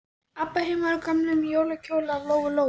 Abba hin var í gömlum jólakjól af Lóu-Lóu.